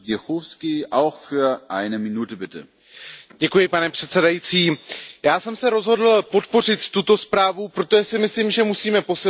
Pane předsedající, já jsem se rozhodl podpořit tuto zprávu, protože si myslím, že musíme posilovat i nadále vztahy Evropské unie s Indií.